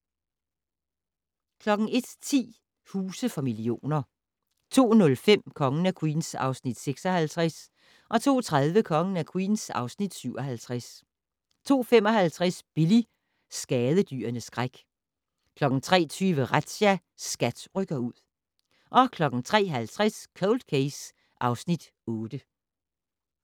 01:10: Huse for millioner 02:05: Kongen af Queens (Afs. 56) 02:30: Kongen af Queens (Afs. 57) 02:55: Billy - skadedyrenes skræk 03:20: Razzia - SKAT rykker ud 03:50: Cold Case (Afs. 8)